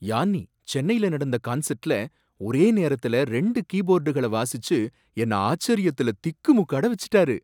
Yanni, சென்னையில் நடந்த கன்சர்ட்ல ஒரே நேரத்தில ரெண்டு கீபோர்டுகளை வாசிச்சு என்ன ஆச்சரியத்துல திக்குமுக்காட வச்சிட்டாரு.